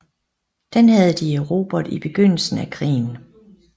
Den havde de erobret i begyndelsen af krigen